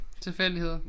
Tilfældigheder